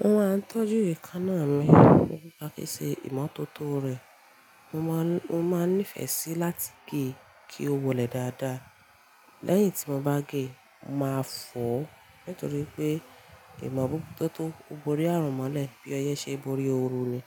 Mo máa ń tọ́jú ekánná mi nipa sise imọ́tótó rẹ. Mo máa ń, mo maa n nífẹ̀ẹ́ si láti gé kí ó wọlé dáadáa. Lẹ́yìn tí mo bá gé, màá fò ó nítorí pé ìmọ̀ bú tótó o borí àrùn mọ́lẹ̀ bí ọyẹ́ ṣe n borí ooru ni.